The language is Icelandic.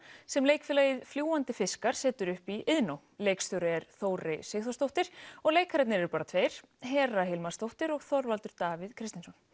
sem leikfélagið fljúgandi fiskar setur upp í Iðnó leikstjóri er Þórey Sigþórsdóttir og leikararnir eru bara tveir Hera Hilmarsdóttir og Þorvaldur Davíð Kristjánsson